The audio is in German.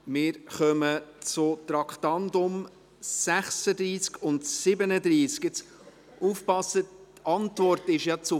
Wir kommen zu den Traktanden 36 und 37. Passen Sie auf: